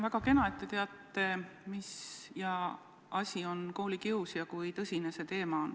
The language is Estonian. Väga kena, et te teate, mis asi on koolikius ja kui tõsine see teema on.